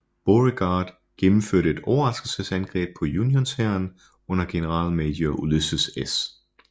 Beauregard gennemførte et overraskelsesangreb på unionshæren under generalmajor Ulysses S